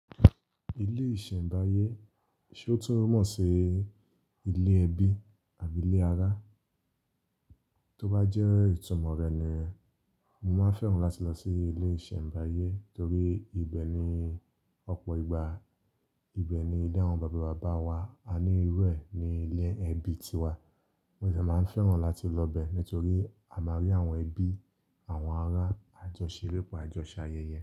Ilé ìsẹ̀mbáyé, ṣe ó tún mọ̀ sí ilé ẹbí àbí ilé ará? Tó bá jẹ́ ìtumọ̀ rẹ̀ ni mo máa fẹ́ràn láti lọ sí ilé ìsẹ̀mbáyé torí ibẹ̀ ni ọ̀pọ̀ ìgbà, ibẹ̀ ni ilé àwọn bàbá bàbá wa, a ní irú ẹ ni ilé ẹbí ti wa. Mo de máa fẹ́ràn láti lọ bẹ́ẹ̀ nítorí a máa rí àwọn ẹbí, àwọn ará, àjọ ṣere, po àjọṣe ayẹyẹ.